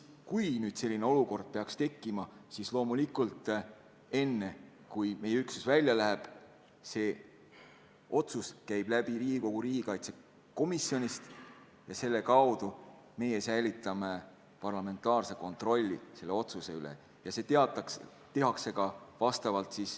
Kui nüüd selline olukord peaks tekkima, siis loomulikult enne, kui meie üksus välja läheb, käib otsus läbi Riigikogu riigikaitsekomisjonist ja selle kaudu me säilitame parlamentaarse kontrolli selle üle.